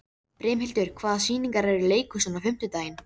Brimhildur, hvaða sýningar eru í leikhúsinu á fimmtudaginn?